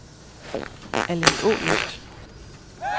Allingålyst